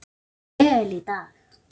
Ég spilaði vel í dag.